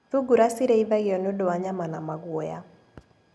Thungura cirĩithagio nĩũndũ wa nyama na maguoya.